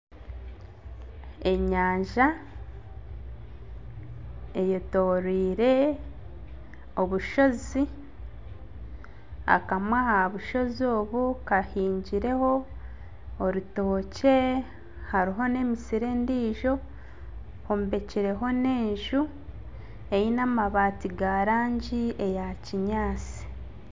Enyanja eyetorirwe obushozi akamwe aha bushozi obu kahingirweho orutookye hariho n'emisiri endijo, hombekireho n'enju eine amabaati g'erangi ya kinyaatsi.